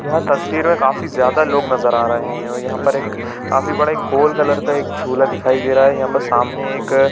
यह तस्वीर में काफी ज्यादा लोग नज़र आ रहे है और यह पर एक काफी बड़ा एक गोल्ड कलर का एक झूला दिखाई दे रहा है यहाँ पर सामने एक--